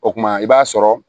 O kuma i b'a sɔrɔ